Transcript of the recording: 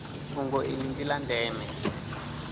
fhungo iḽi ḽi ḽa ndeme